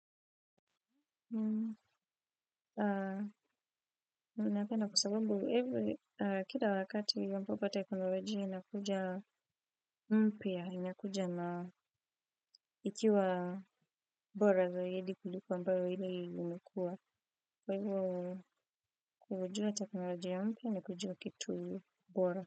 Uh unapenda kwa sababu evo kida wakati ampapo teknolojia inakuja mpya inakuja na ikiwa bora zaidi kuliko ambao hiie uliokuwa kwa hivyo kujua teknolojia ya mpya na kujua kitu bora.